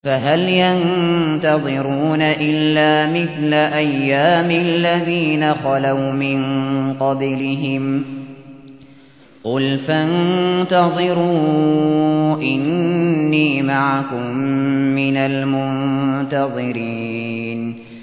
فَهَلْ يَنتَظِرُونَ إِلَّا مِثْلَ أَيَّامِ الَّذِينَ خَلَوْا مِن قَبْلِهِمْ ۚ قُلْ فَانتَظِرُوا إِنِّي مَعَكُم مِّنَ الْمُنتَظِرِينَ